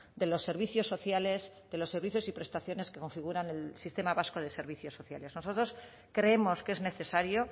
de los servicios sociales de los servicios y prestaciones que configuran el sistema vasco de servicios sociales nosotros creemos que es necesario